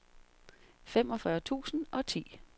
femogfyrre tusind og ti